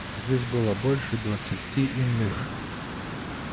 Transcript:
здесь было больше двадцати иных